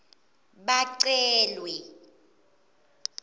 bacelwe